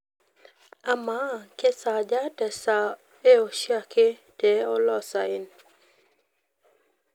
amaa kesaaja te saa ee oshiake te oloosayen